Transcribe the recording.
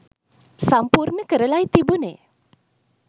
සමිපූර්ණ කරලයි තිබුනේ.